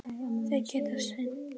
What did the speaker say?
Þeir geta synt.